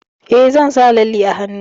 Eh, zan sa lalle a hannu.